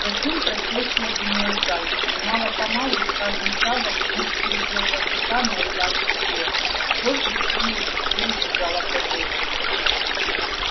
затем процессия двинулась дальше и мало помалу с каждым шагом мускулы белого клыка наливались силой кровь быстрее и быстрее бежала по жилам